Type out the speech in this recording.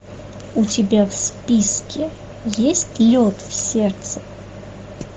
у тебя в списке есть лед в сердце